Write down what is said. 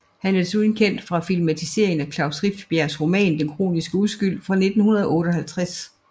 Han er desuden kendt fra filmatiseringen af Klaus Rifbjergs roman Den kroniske uskyld fra 1958